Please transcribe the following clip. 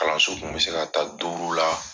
kun bɛ se ka taa duuru la.